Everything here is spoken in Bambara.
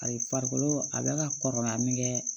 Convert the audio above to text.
Ayi farikolo a bɛ ka kɔrɔbaya min kɛ